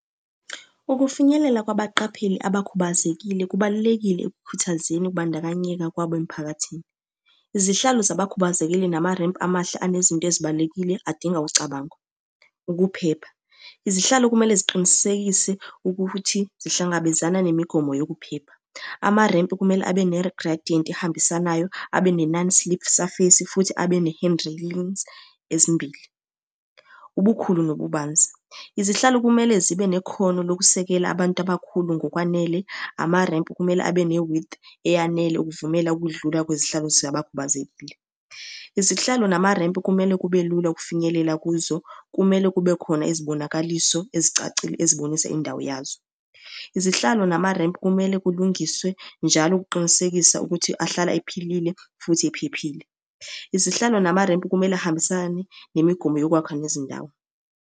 Ukufinyelela kwabaqapheli abakhubazekile kubalulekile ekukhuthazeni ukubandakanyeka kwabo emphakathini. Izihlalo zabakhubazekile nama-ramp amahle anezinto ezibalulekile adinga ucabango. Ukuphepha, izihlalo kumele ziqinisekise ukuthi zihlangabezana nemigomo yokuphepha. Amarempu kumele abe nerigradiyenti ehambisanayo, abe ne-non-slip surface, futhi abe ne-hand railings ezimbili. Ubukhulu nobubanzi, izihlalo kumele zibe nekhono lokusekela abantu abakhulu ngokwanele, amarempu kumele abe ne-width eyanele ukuvumela ukudlula kwezihlalo zabakhubazekile. Izihlalo namarempu kumele kube lula ukufinyelela kuzo, kumele kube khona izibonakaliso ezicacile ezibonisa indawo yazo. Izihlalo namarempu kumele kulungiswe njalo ukuqinisekisa ukuthi ahlala ephilile, futhi ephephile. Izihlalo namarempu kumele ahambisane nemigomo yokwakha nezindawo.